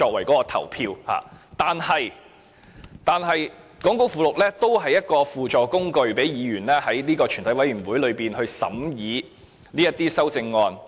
講稿附錄是一種輔助工具，讓委員在全體委員會階段審議修正案。